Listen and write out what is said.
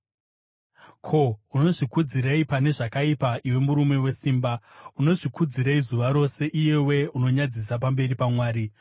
Ko, unozvikudzirei pane zvakaipa, iwe murume wesimba? Unozvikudzirei zuva rose, iyewe unonyadzisa pamberi paMwari?